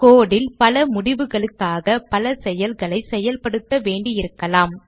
code ல் பல முடிவுகளுக்காக பல செயல்களை செயல்படுத்த வேண்டியிருக்கலாம்